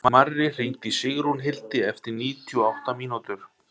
Marri, hringdu í Sigrúnhildi eftir níutíu og átta mínútur.